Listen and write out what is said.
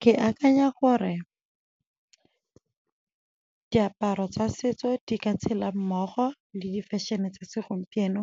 Ke akanya gore diaparo tsa setso di ka tshela mmogo le di-fashion-e tsa segompieno,